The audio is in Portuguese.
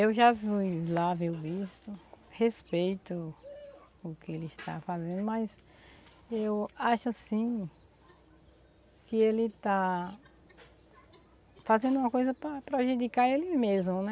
Eu já fui lá ver o bispo, respeito o que ele está fazendo, mas eu acho assim que ele está fazendo uma coisa para prejudicar ele mesmo, né?